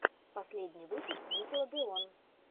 последний выпуск никелодеон